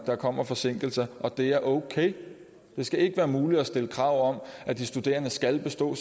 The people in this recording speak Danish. der kommer forsinkelser og det er okay det skal ikke være muligt at stille krav om at de studerende skal bestå